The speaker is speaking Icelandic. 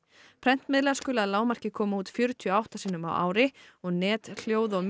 prentmiðlar skulu að lágmarki koma út fjörutíu og átta sinnum á ári og net hljóð og